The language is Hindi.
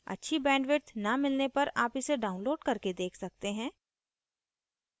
अच्छी bandwidth न मिलने पर आप इसे download करके देख सकते हैं